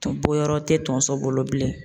bɔyɔrɔ tɛ tonso bolo bilen.